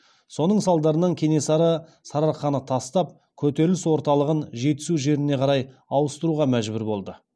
соның салдарынан кенесары сарыарқаны тастап көтеріліс орталығын жетісу жеріне қарай ауыстыруға мәжбүр болды